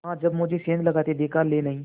हाँ जब मुझे सेंध लगाते देख लेनहीं